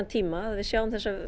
tíma að við sjáum þessa